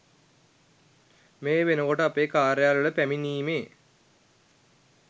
මේ වෙනකොට අපේ කාර්යාලවල පැමිණීමේ